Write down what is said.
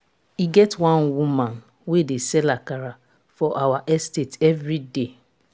e get one woman wey dey sell akara for our estate every day.